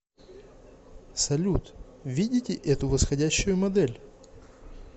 салют видите эту восходящую модель